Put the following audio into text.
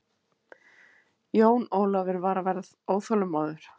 Jón Ólafur var að verða óþolinmóður.